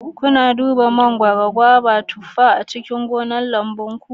Kuna duba mangwaron, gobar, da tufar a cikin gonar lamubunku?